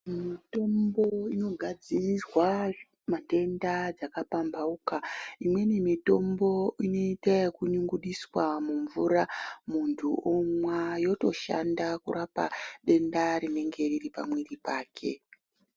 Mitombo inogadzirirwa matenda dzakapambauka umweni mutombo unoita ekunyungudiswa mumvura munthu omwa yotoshanda kurape denda rinenge riri pamiri wake